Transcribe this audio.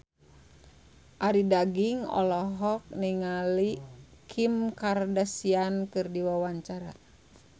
Arie Daginks olohok ningali Kim Kardashian keur diwawancara